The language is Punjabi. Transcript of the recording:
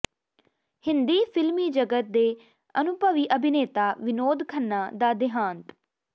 ਹਿੰਦੀ ਿਫ਼ਲਮੀ ਜਗਤ ਦੇ ਅਨੁਭਵੀ ਅਭਿਨੇਤਾ ਵਿਨੋਦ ਖੰਨਾ ਦਾ ਦਿਹਾਂਤ